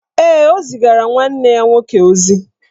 Ee, o zigara nwanne ya nwoke ozi